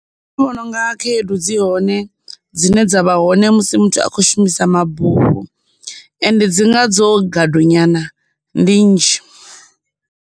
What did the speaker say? Vhona unga khaedu dzi hone dzine dza vha hone musi muthu a khou shumisa mabufho, ende dzi nga dzo gadu nyana, ndi nnzhi.